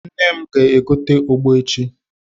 Nne m ga- egotere m ogbo echi.